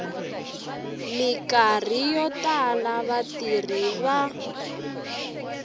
mikarhi yo tala vatirhi va